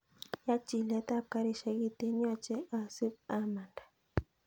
Yaa chilet ab garishek kiten yoche asib amanda